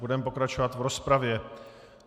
Budeme pokračovat v rozpravě.